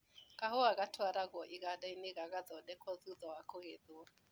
Kahũa gatwaragwo igandainĩ gagathondekwo thutha wa kũgetwo.